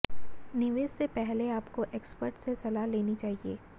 निवेश से पहले आपको एक्सपर्ट से सलाह लेनी चाहिए